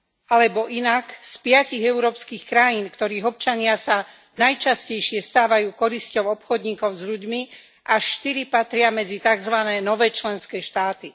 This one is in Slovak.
Alebo inak, z piatich európskych krajín, ktorých občania sa najčastejšie stávajú korisťou obchodníkov s ľuďmi, až štyri patria medzi takzvané nové členské štáty.